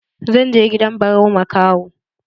Zan je gidan Barau makaho.